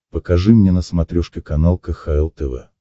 покажи мне на смотрешке канал кхл тв